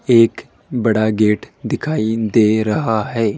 एक बड़ा गेट दिखाई दे रहा है।